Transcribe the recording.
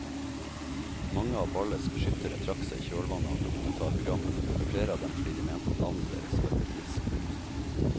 Mange av ballets beskyttere trakk seg i kjølvannet av dokumentarprogrammet, flere av dem fordi de mente at navnet deres var blitt misbrukt.